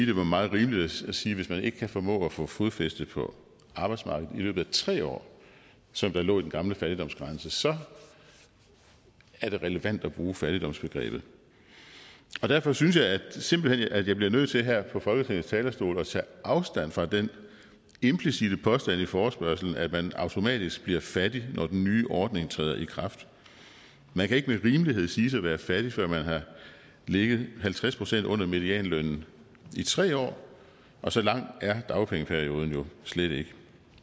det var meget rimeligt at sige at hvis man ikke kan formå at få fodfæste på arbejdsmarkedet i løbet af tre år som der lå i den gamle fattigdomsgrænse så er det relevant at bruge fattigdomsbegrebet derfor synes jeg simpelt hen at jeg bliver nødt til her fra folketingets talerstol at tage afstand fra den implicitte påstand i forespørgslen at man automatisk bliver fattig når den nye ordning træder i kraft man kan ikke med rimelighed siges at være fattig før man har ligget halvtreds procent under medianlønnen i tre år og så lang er dagpengeperioden jo slet ikke